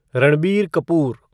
Ranbir Kapoor